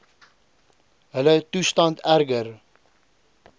hulle toestand erger